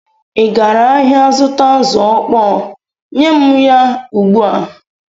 Ị gara ahịa zụta azụ̀ ọkpọọ? Nye m ya ugbu a!